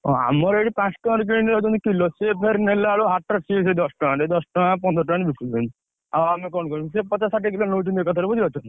ଆମର ଏଠି ପାଞ୍ଚ ଟଙ୍କାରେ କିଣି ନେଇଯାଉଛନ୍ତି କିଲେ। ସେ ଫେରେ ନେଲାବେଳକୁ ହାଟରେ ସେ ସେଇ ଦଶ ଟଙ୍କା ଦଶ ଟଙ୍କା ପନ୍ଦର ଟଙ୍କା ସେ ସେଇ ବିକୁଛନ୍ତି। ଆଉ ଆମେ କଣ କରିବୁ ସେ ପଚାଶ ଷାଠିଏ ଟଙ୍କା ଏକାଥରେ ବୁଝି ପାରୁଛ ନା?